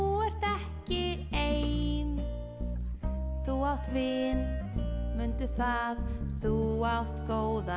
ert ekki ein þú átt vin mundu það þú átt góðan